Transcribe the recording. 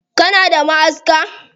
Kana da ma'aska?